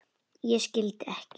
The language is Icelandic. Ég skildi ekki.